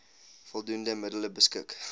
voldoende middele beskik